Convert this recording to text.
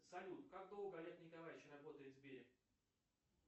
салют как долго олег николаевич работает в сбере